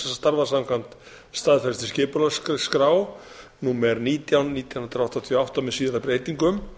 starfa samkvæmt staðfestri skipulagsskrá númer nítján nítján hundruð áttatíu og átta með síðari breytingum